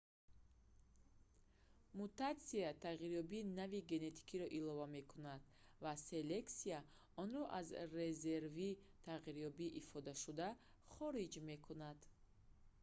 мутатсия тағйирёбии нави генетикиро илова мекунад ва селексия онро аз резерви тағйирёбии ифодашуда хориҷ мекунад